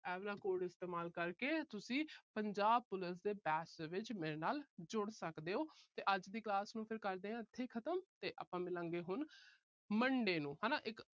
ਆਹ ਵਾਲਾ code ਇਸਤੇਮਾਲ ਕਰਕੇ ਤੁਸੀਂ Punjab Police ਦੇ batch ਵਿੱਚ ਮੇਰੇ ਨਾਲ ਜੁੜ ਸਕਦੇ ਹੋ ਤੇ ਅੱਜ ਦੀ class ਨੂੰ ਕਰਦੇ ਆ ਇੱਥੇ ਹੀ ਖਤਮ ਤੇ ਆਪਾ ਮਿਲਾਂਗੇ ਹੁਣ monday ਨੂੰ ਹਨਾ। ਇੱਕ